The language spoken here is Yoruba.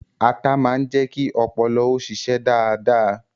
Atá máa ń jẹ́ kí ọpọlọ ó ṣíṣe dáadáa